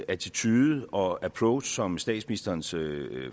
attitude og approach som statsministerens